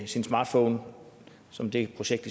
sin smartphone som det projekt